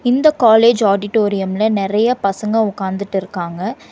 இந்த காலேஜ் ஆடிட்டோரியம்ல நெறைய பசங்க உக்காந்துட்டு இருக்காங்க.